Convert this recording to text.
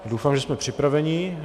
Doufám, že jsme připraveni.